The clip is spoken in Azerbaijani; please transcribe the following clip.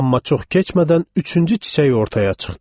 Amma çox keçmədən üçüncü çiçək ortaya çıxdı.